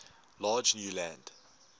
large new land